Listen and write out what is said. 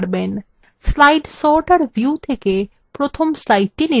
slide sorter view থেকে from slide নির্বাচন from